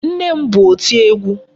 Nne ma bụ oti egwu.